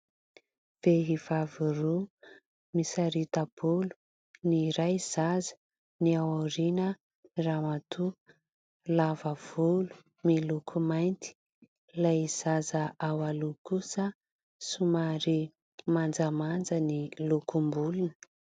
Vehivavy roa misarita-bolo, ny iray zaza, ny aoriana ramatoa lava volo miloko mainty. Ilay zaza eo aloha kosa somary manjamanja ny lokom-bolony.